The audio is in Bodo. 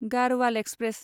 गाढ़वाल एक्सप्रेस